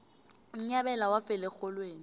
unyabela wafela erholweni